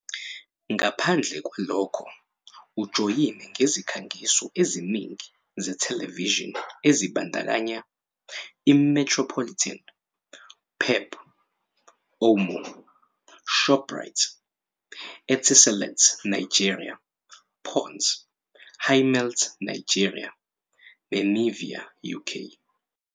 Ngaphandle kwalokho, ujoyine nezikhangiso eziningi zethelevishini ezibandakanya iMetropolitan, PEP, Omo, Shoprite, Etiselat Nigeria, Ponds, Hi-Malt Nigeria neNivea UK.